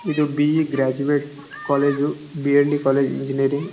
ಇದು BE graduate college BND college engineering --